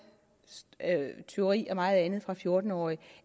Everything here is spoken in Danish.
tyveri og meget andet fra fjorten årige